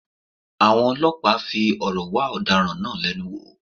Àwọn ọlọ́pàá fi òrò wá àwọn ọ̀daràn náà lẹ́nu wò